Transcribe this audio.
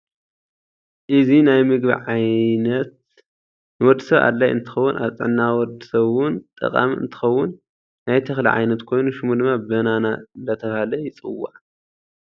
እዚ ናይ ምግብ ዓይነት ንወድሰብ አድላይ እንትከውን አብ ጥዕናካ ወድሰብ እውን ጠቃም እንትከውን ናይ ተክሊ ዓይነት ኮይነ ሸሙ ድማ በነና እዴተባሃለ ይፅዋዑ።